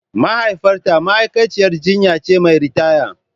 Mahaifiyata ma'aikaciyar jinya ce mai ritaya.